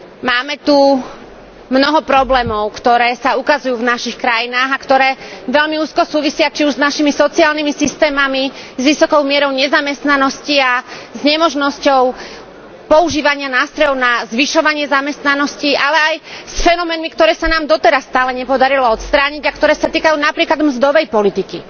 Máme tu mnoho problémov, ktoré sa ukazujú v našich krajinách a ktoré veľmi úzko súvisia či už s našimi sociálnymi systémami, s vysokou mierou nezamestnanosti a s nemožnosťou používania nástrojov na zvyšovanie zamestnanosti, ale aj s fenoménmi, ktoré sa nám doteraz stále nepodarilo odstrániť a ktoré sa týkajú napríklad mzdovej politiky.